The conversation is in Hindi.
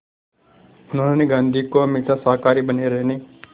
उन्होंने गांधी को हमेशा शाकाहारी बने रहने